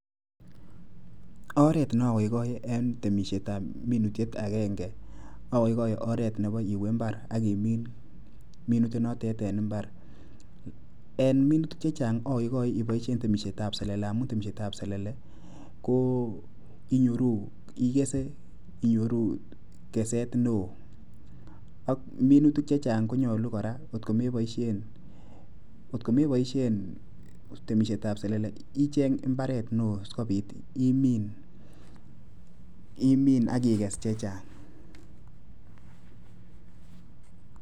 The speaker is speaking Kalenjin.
Oret neogoigoe en temisietab minutiet agengen ogoigoe oret nebo iwe mbar akimin minutiet notet en mbar. En minutik chechang', agoigoe iboishen temisietab selele. Amun temisietab selele inyoru keset neo ak minutik chechang' konyolu kora kotko meboishen temishetab selele icheng' mbaret neo sikopit imin akikes chechang'.